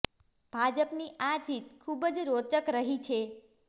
ભાજપની આ જીત ખુબ જ રોચક રહી છે